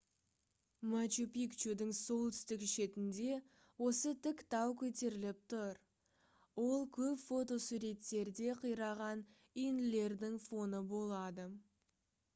мачу-пикчудың солтүстік шетінде осы тік тау көтеріліп тұр ол көп фотосуреттерде қираған үйінділердің фоны болады